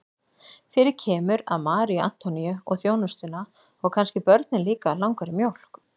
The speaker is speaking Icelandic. Fyrir kemur að Maríu Antoníu og þjónustuna og kannski börnin líka langar í mjólk.